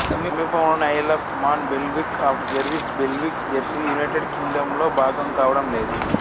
సమీపంలోని Isle of Man Bailiwick of Guernsey Bailiwick జెర్సీలు United కింగ్డంలో భాగం కావడం లేదు